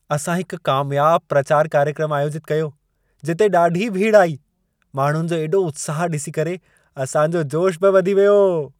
असां हिकु कामयाब प्रचार कार्यक्रमु आयोजितु कयो, जिते ॾाढी भीड़ु आई। माण्हुनि जो एॾो उत्साह डि॒सी करे असां जो जोश बि वधी वियो।